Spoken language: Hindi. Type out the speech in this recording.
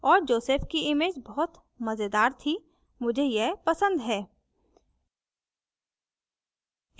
और जोसेफ की image बहुत मजेदार थी मुझे यह पसंद है